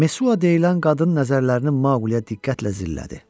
Mesua deyilən qadın nəzərlərini Maqliyə diqqətlə zillədi.